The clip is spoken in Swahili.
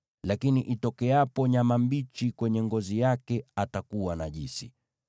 Lakini itokeapo nyama mbichi kwenye ngozi yake, atakuwa najisi.